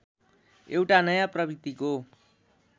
एउटा नयाँ प्रवृत्तिको